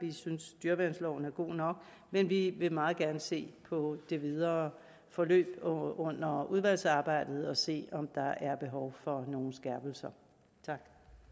vi synes dyreværnsloven er god nok men vi vil meget gerne se på det videre forløb under udvalgsarbejdet og se på om der er behov for skærpelser tak